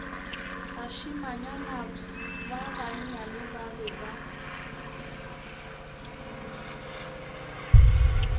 bašimanyana ba bannyane ba be